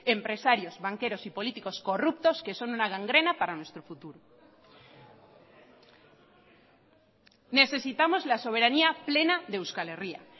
empresarios banqueros y políticos corruptos que son una gangrena para nuestro futuro necesitamos la soberanía plena de euskal herria